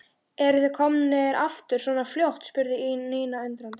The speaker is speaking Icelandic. Eruð þið komnir aftur svona fljótt? spurði Nína undrandi.